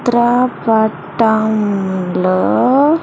చిత్ర పటం లో.